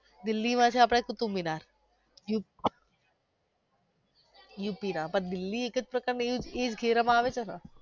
દીલ્લી માં છે આપડે.